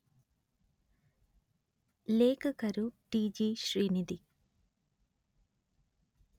ಲೇಖಕರು ಟಿ_letter ಜಿ_letter ಶ್ರೀನಿಧಿ